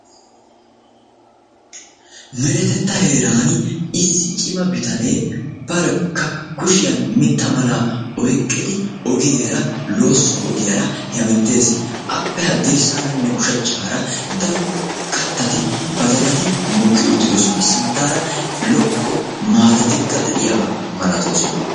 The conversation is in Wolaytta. meretta heerani issi cimma bittane kushiyani mitta oyqidi loosso ogiyara hemetessi aappe yabagarane ha bagara badalaykka deessi.